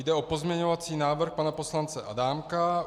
Jde o pozměňovací návrh pana poslance Adámka.